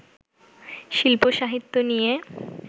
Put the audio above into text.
শিল্প-সাহিত্য নিয়ে